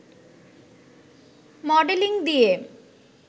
modelling দিয়ে